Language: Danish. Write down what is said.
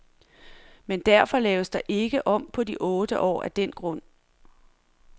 Men defor laves der ikke om på de otte år af den grund.